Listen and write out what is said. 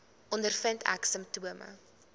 ondervind ek simptome